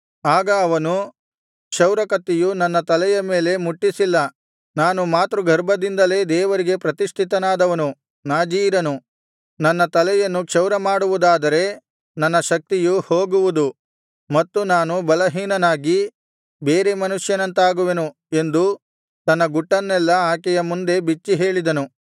ಆಗ ಅವನು ಕ್ಷೌರಕತ್ತಿಯು ನನ್ನ ತಲೆಯ ಮೇಲೆ ಮುಟ್ಟಿಸಿಲ್ಲ ನಾನು ಮಾತೃಗರ್ಭದಿಂದಲೇ ದೇವರಿಗೆ ಪ್ರತಿಷ್ಠಿತನಾದವನು ನಾಜೀರನು ನನ್ನ ತಲೆಯನ್ನು ಕ್ಷೌರಮಾಡುವುದಾದರೆ ನನ್ನ ಶಕ್ತಿಯು ಹೋಗುವುದು ಮತ್ತು ನಾನು ಬಲಹೀನನಾಗಿ ಬೇರೆ ಮನುಷ್ಯನಂತಾಗುವೆನು ಎಂದು ತನ್ನ ಗುಟ್ಟನ್ನೆಲ್ಲಾ ಆಕೆಯ ಮುಂದೆ ಬಿಚ್ಚಿಹೇಳಿದನು